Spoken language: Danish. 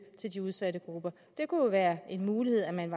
til udsatte grupper det kunne være en mulighed at man